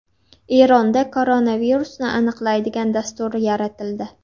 Eronda koronavirusni aniqlaydigan dastur yaratildi.